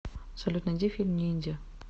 салют найди фильм ниндзя